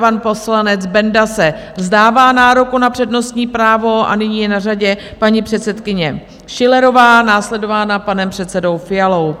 Pan poslanec Benda se vzdává nároku na přednostní právo a nyní je na řadě paní předsedkyně Schillerová, následována panem předsedou Fialou.